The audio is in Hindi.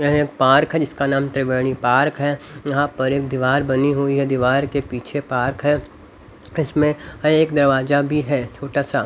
एक पार्क जिसका नाम त्रिवेणी पार्क है यहां पर एक दीवार बनी हुई है दीवार के पीछे पार्क है इसमें एक दरवाजा भी है छोटा सा--